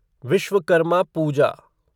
Vishwakarma Puja